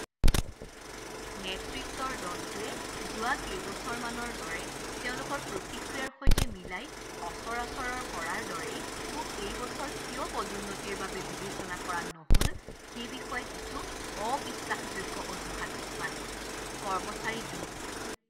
নেতৃত্বৰ দলটোৱে যোৱা কেইবছৰমানৰ দৰে তেওঁলোকৰ প্ৰতিক্ৰিয়াৰ সৈতে মিলাই সচৰাচৰৰ কৰাৰ দৰেই মোক এই বছৰ কিয় পদোন্নতিৰ বাবে বিবেচনা কৰা নহ'ল সেই বিষয়ে কিছু অবিশ্বাসযোগ্য অজুহাত দেখুৱালে। কৰ্মচাৰী দুই